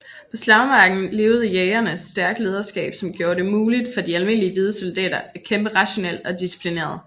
På slagmarken leverede Jägerne stærkt lederskab som gjorde det muligt for de almindelige hvide soldater at kæmpe rationelt og disciplineret